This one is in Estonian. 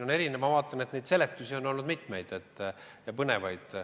Ka seletusi on olnud väga põnevaid.